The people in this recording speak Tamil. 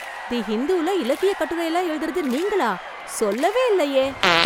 தி இந்துல இலக்கிய கட்டுரைலாம் எழுதறது நீங்களா? சொல்லவே இல்லையே.